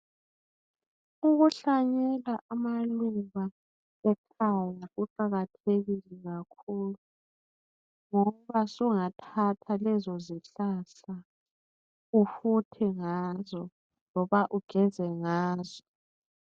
ukuhlanyela amaluba ekhaya kuqhakathekile kakhulu ngoba usungathatha lezozihlahla ifuthe ngazo noba ugeze ngazo